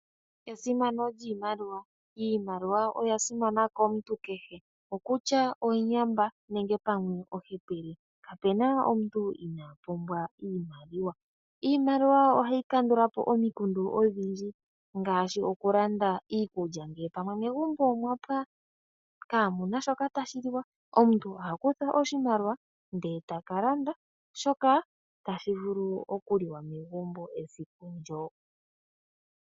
Esimano lyiimaliwa. Iimaliwa oya simana komuntu kehe, kutya nduno omuyamba nenge omuhepele. Kapu na omuntu inaa pumbwa iimaliwa. Iimaliwa ohayi kandula po omikundu odhindji ngaashi okulanda iikulya ngele pamwe megumbo omwa pwa kaamu na shoka tashi liwa, omuntu oha kutha oshimaliwa e ta ka landa shoka tashi vulu okuliwa esiku ndyoka.